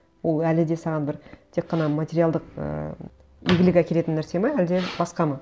ол әлі де саған бір тек қана материалдық ыыы игілік әкелетін нәрсе ме әлде басқа ма